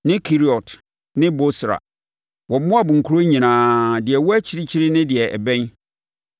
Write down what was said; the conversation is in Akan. ne Keriot ne Bosra wɔ Moab nkuro nyinaa, deɛ ɛwɔ akyirikyiri ne deɛ ɛbɛn.